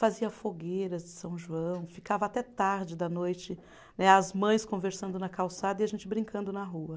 Fazia fogueiras de São João, ficava até tarde da noite né, as mães conversando na calçada e a gente brincando na rua.